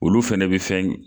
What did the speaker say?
Olu fɛnɛ be fɛn